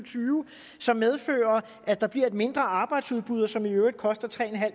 som medfører at der bliver et mindre arbejdsudbud og som i øvrigt koster tre